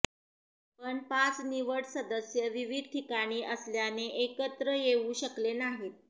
पण पाच निवड सदस्य विविध ठिकाणी असल्याने एकत्र येऊ शकले नाहीत